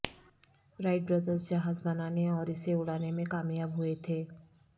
right brothers جہاز بنانے اور اسے اڑانے میں کامیاب ہوئے تھے